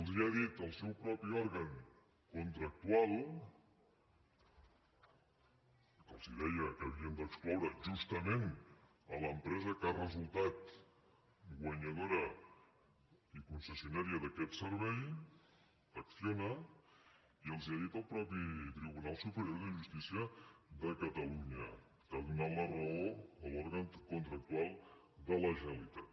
els ho ha dit el seu mateix òrgan contractual que els deia que havien d’excloure justament l’empresa que ha resultat guanyadora i concessionària d’aquest servei acciona i els ho ha dit el mateix tribunal superior de justícia de catalunya que ha donat la raó a l’òrgan contractual de la generalitat